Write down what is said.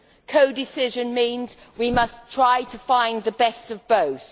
Co decision means we must try to find the best of both.